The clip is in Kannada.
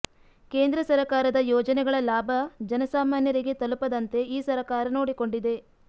ಕೇಂದ್ರ ಸರಕಾರದ ಯೋಜನೆಗಳ ಲಾಭ ಜನಸಾಮಾನ್ಯರಿಗೆ ತಲುಪದಂತೆ ಈ ಸರಕಾರ ನೋಡಿಕೊಂಡಿದೆ